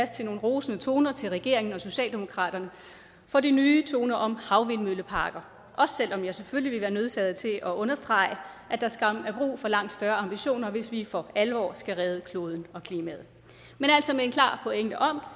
til nogle rosende toner til regeringen og socialdemokratiet for de nye toner om havvindmølleparker også selv om jeg selvfølgelig ville være nødsaget til at understrege at der skam er brug for langt større ambitioner hvis vi for alvor skal redde kloden og klimaet men altså med en klar pointe om